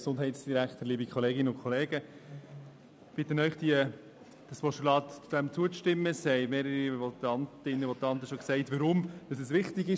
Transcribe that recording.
Mehrere Votantinnen und Votanten haben bereits gesagt, weshab es wichtig ist.